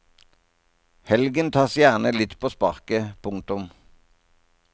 Helgen tas gjerne litt på sparket. punktum